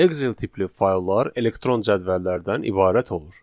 Excel tipli fayllar elektron cədvəllərdən ibarət olur.